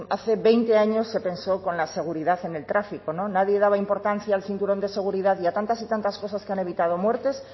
hace veinte años se pensó con la seguridad en el tráfico nadie daba importancia al cinturón de seguridad y a tantas y tantas cosas que han evitado muertes